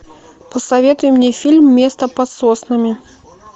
посоветуй мне фильм место под соснами